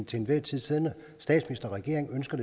til enhver tid siddende statsminister og regering ønsker